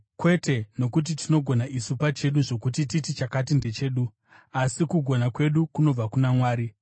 Kwete nokuti tinogona isu pachedu, zvokuti titi chakati ndechedu, asi kugona kwedu kunobva kuna Mwari.